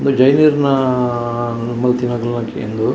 ಉಂದು ಜೈನೆರ್ನ ಆಆಆ ಮಲ್ತಿನಕ್ಲೆನೆಕೆ ಉಂದು.